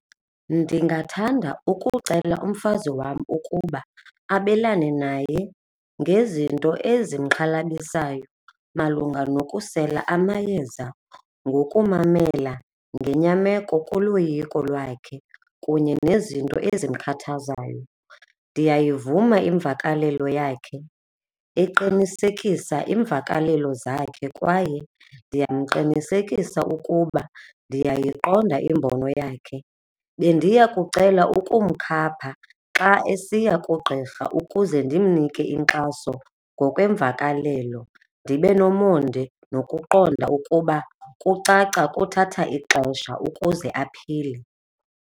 Ndingathanda ukucela umfazi wam ukuba abelane naye ngezinto ezimxhalabisayo malunga nokusela amayeza ngokumamela ngenyameko kuloyiko lwakhe kunye nezinto ezimkhathazayo. Ndiyayivuma imvakalelo yakhe eqinisekisa iimvakalelo zakhe, kwaye ndiyamqinisekisa ukuba ndiyayiqonda imbono yakhe. Bendiya kucela ukumkhapha xa esiya kugqirha ukuze ndimnike inkxaso ngokweemvakalelo, ndibe nomonde nokuqonda ukuba kucaca kuthatha ixesha ukuze aphile.